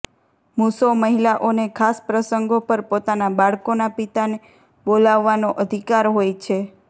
મૂસો મહિલાઓને ખાસ પ્રસંગો પર પોતાના બાળકોના પિતાને બોલાવવાનો અધિકાર હોય છે